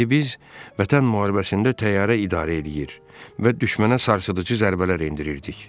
İndi biz Vətən müharibəsində təyyarə idarə eləyir və düşmənə sarsıdıcı zərbələr endirirdik.